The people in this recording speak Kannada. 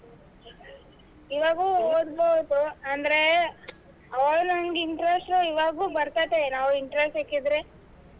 ಹ್ಮ್ ಇವಾಗೂ ಹೋಗಬೋದು ಆಂದ್ರೆ ಅವಾಗ್ ನಂಗ್ interest ಬರ್ತೇತೆ ನಾವ್ interest ಹಾಕಿದ್ರೆ.